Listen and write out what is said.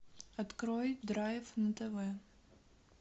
открой драйв на тв